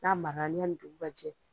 N'a ma ɲani dugu ka jɛ.